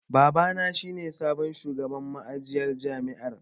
Babana shi ne sabon shugaban ma'ajiyar jami'ar.